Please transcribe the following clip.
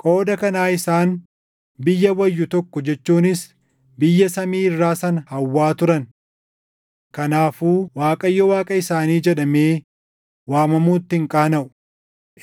Qooda kanaa isaan biyya wayyu tokko jechuunis biyya samii irraa sana hawwaa turan. Kanaafuu Waaqayyo Waaqa isaanii jedhamee waamamuutti hin qaanaʼu;